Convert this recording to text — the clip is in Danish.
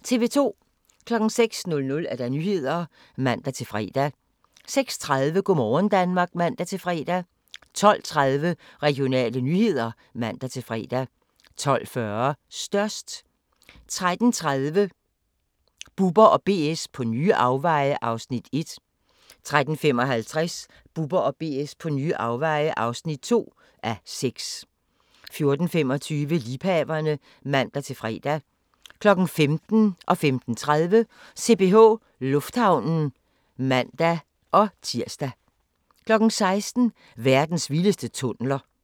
06:00: Nyhederne (man-fre) 06:30: Go' morgen Danmark (man-fre) 12:30: Regionale nyheder (man-fre) 12:40: Størst 13:30: Bubber & BS på nye afveje (1:6) 13:55: Bubber & BS på nye afveje (2:6) 14:25: Liebhaverne (man-fre) 15:00: CPH Lufthavnen (man-tir) 15:30: CPH Lufthavnen (man-fre) 16:00: Verdens vildeste tunneler